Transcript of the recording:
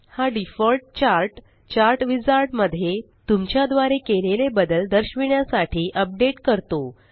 हा default chart chart wizard मध्ये तुमच्या द्वारे केलेले बदल दर्शविण्यासाठी अपडेट करतो